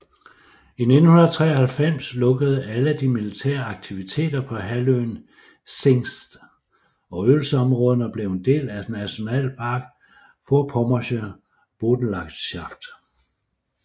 I 1993 lukkede alle de militære aktiviteter på halvøen Zingst og øvelsesområderne blev en del af Nationalpark Vorpommersche Boddenlandschaft